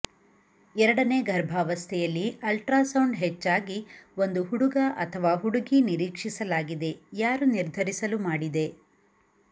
ಎರಡನೇ ಗರ್ಭಾವಸ್ಥೆಯಲ್ಲಿ ಅಲ್ಟ್ರಾಸೌಂಡ್ ಹೆಚ್ಚಾಗಿ ಒಂದು ಹುಡುಗ ಅಥವಾ ಹುಡುಗಿ ನಿರೀಕ್ಷಿಸಲಾಗಿದೆ ಯಾರು ನಿರ್ಧರಿಸಲು ಮಾಡಿದೆ